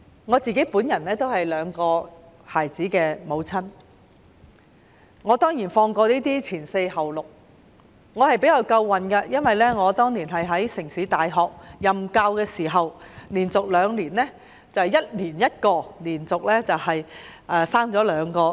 我是兩個孩子的母親，我曾放取"前四後六"的產假，我比較幸運，當年懷孕時在城市大學任教，我連續兩年懷孕 ，1 年生1個孩子，連續生了兩個。